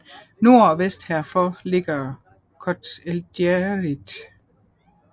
Nord og vest herfor ligger Chott el Djerid